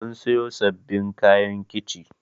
Mun siyo sabbin kayan kici